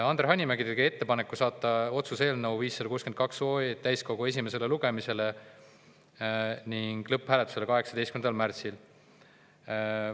Andre Hanimägi tegi ettepaneku saata otsuse eelnõu 562 täiskogu esimesele lugemisele ning lõpphääletusele 18. märtsil.